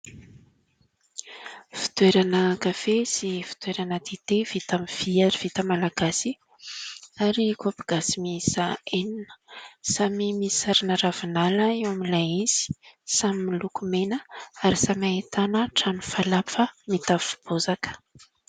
Fitoerana kafe sy fitoerana dite vita aminy vy ary vita Malagasy ary kaopy gasy miisa enina, samy misy sarina ravinala eo amin'ilay izy, samy miloko mena ary samy ahitana trano falafa mitafo bozaka.